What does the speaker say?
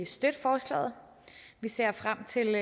støtte forslaget vi ser frem til